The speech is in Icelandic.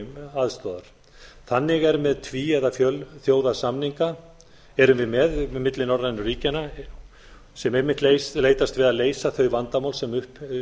aðstoðar þannig er með tví eða fjölþjóðasamninga erum við með milli norrænu ríkjanna sem einmitt leitast við að leysa þau vandamál sem upp